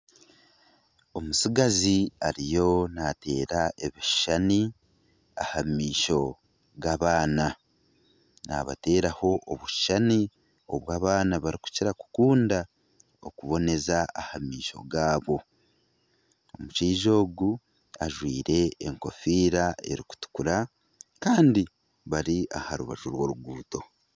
Omutsigazi ariyo nateera ebishushani aha maisho g'abaana. Nabateeraho obushushani obu abaana barikukira kukunda okuboneza aha maisho gaabo. Omushaija ogu ajwaire enkofiira erikutukura kandi bari aha rubaju rw'oruguuto.